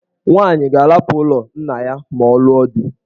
Nwaanyị ga-ahapụ ụlọ nna ya ma ọ lụọ di.